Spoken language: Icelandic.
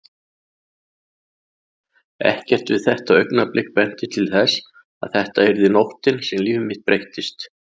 Ekkert við þetta augnablik benti til þess að þetta yrði nóttin sem líf mitt breyttist.